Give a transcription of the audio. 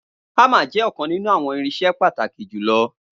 Hammer jẹ ọkan ninu awọn irinṣẹ pataki julọ